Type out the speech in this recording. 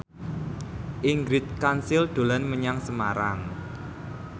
Ingrid Kansil dolan menyang Semarang